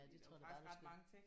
Ja det tror jeg da bare du skal